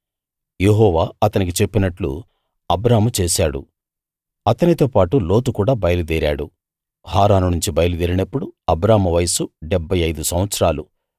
యెహోవా అతనికి చెప్పినట్టు అబ్రాము చేశాడు అతనితోపాటు లోతు కూడా బయలుదేరాడు హారాను నుంచి బయలుదేరినప్పుడు అబ్రాము వయసు డెబ్భై ఐదు సంవత్సరాలు